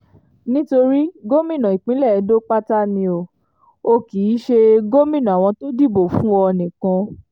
nítorí gómìnà ìpínlẹ̀ edo pátá ni o ò kì í ṣe gómìnà àwọn tó dìbò fún ọ nìkan